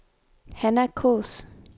Hanna Kaas